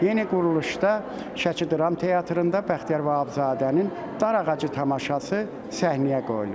Yeni quruluşda Şəki Dram Teatrında Bəxtiyar Vahabzadənin "Darağacı" tamaşası səhnəyə qoyulub.